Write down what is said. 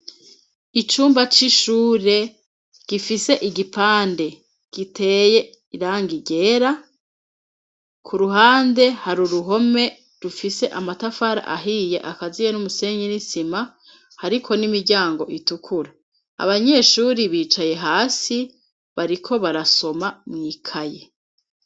Icumba c'ishure gifise igipande giteye irangi ryera ,ku ruhande har' uruhome rufise amatafari ahiye akaziye n'umusenyi n'isima hariko n'imiryango itukura, abanyeshuri bicaye hasi bariko barasoma mw'ikaye.